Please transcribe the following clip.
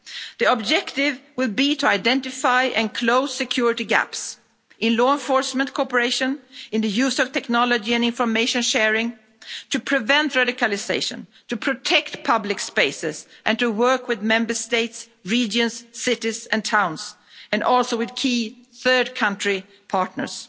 The objective will be to identify and close security gaps in law enforcement cooperation, in the use of technology and information sharing, to prevent radicalisation, to protect public spaces and to work with Member States, regions, cities and towns and also with key third country partners.